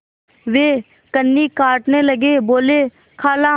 वे कन्नी काटने लगे बोलेखाला